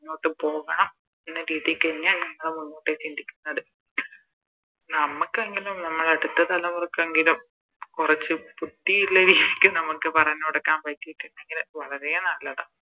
മുന്നോട്ട് പോകണം എന്ന രീതിക്ക് തന്നെയാ ഞങ്ങളും ചിന്തിക്കുന്നത് നമ്മക്കെങ്കിലും നമ്മുടെ അടുത്ത തലമുറക്കെങ്കിലും കൊറച്ച് തൃപ്തിയിള്ള രീതിക്ക് പറഞ്ഞ് കൊടുക്കാം നമുക്ക് പറ്റിട്ടിണ്ടെങ്കില് വളരെ നല്ലതാ